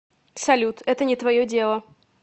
салют это не твое дело